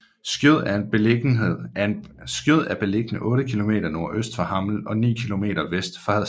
Skjød er beliggende otte kilometer nordøst for Hammel og ni kilometer vest for Hadsten